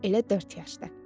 Elə dörd yaş da.